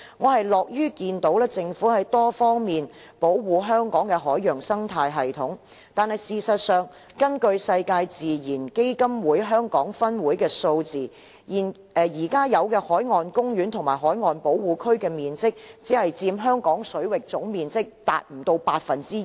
我樂於看到政府在多方面保護香港的海洋生態系統，但事實上，根據世界自然基金會香港分會的數字，現有海岸公園及海岸保護區的面積只佔香港水域總面積不足 2%。